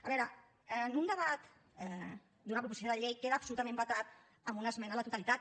a veure en un debat d’una proposició de llei queda absolutament vetat en una esmena a la totalitat